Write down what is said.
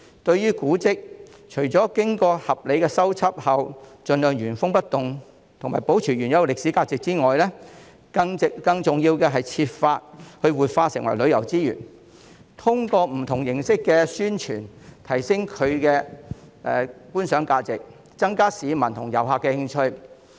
對於古蹟，除了經過合理的修葺後，盡量原封不動和保持原有的歷史價值外，更重要的是設法將之活化，繼而成為旅遊資源，通過不同形式的宣傳，提升其觀賞價值，增加市民和遊客的興趣。